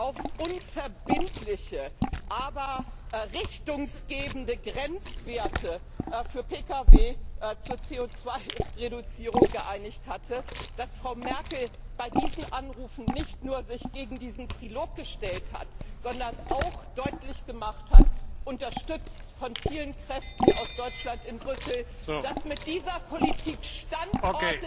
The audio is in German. auf unverbindliche, aber richtungsgebende Grenzwerte für Pkw zur CO Reduzierung geeinigt hatte, dass Frau Merkel sich mit diesen Anrufen nicht nur gegen diesen Trilog gestellt hat, sondern auch deutlich gemacht hat, unterstützt von vielen Kräften aus Deutschland in Brüssel, dass mit dieser Politik Standorte